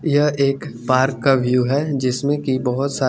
यह एक पार्क का व्यू है जिसमे की बोहोत सा--